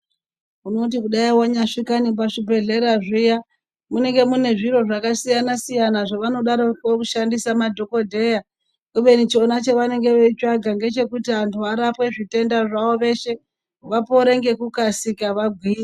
Unoti kudai vanyasvika nepazvibhedhlera zviya munenge mune zviro zvakasiyana-siyana, zvinodaroko kushandisa madhogodheya. Kubeni chona chevanenge veichitsvaga ndechekuti antu arapwe zvitenda zvavo veshe vapore ngekukasika vagwinye.